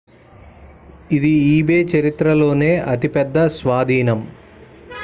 ఇది ebay చరిత్రలోనే అతి పెద్ద స్వాధీనం